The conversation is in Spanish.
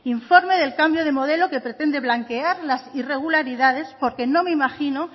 informe del cambio de modelo que pretende blanquear las irregularidades porque no me imagino